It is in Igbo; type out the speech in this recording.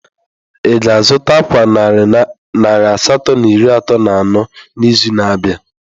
Ị ga-azụta ákwà narị asatọ na iri atọ na anọ n'izu na-abịa?